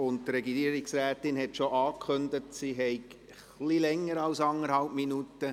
Die Regierungsrätin hat bereits angekündigt, sie brauche etwas länger als anderthalb Minuten.